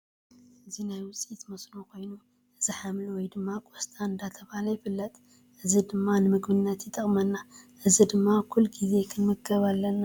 እዚ ናይ ውፅኢት ሞስኖ ኮይኑ እዚ ሓምሊ ወይ ድማ ቆስፃ እንዳተባሃለ ይፍለጥ። እዚ ድማ ንምግብነት ይጠቅመና ። እዚ ድማ ኩሉ ግዜ ክንምገብ ኣለና።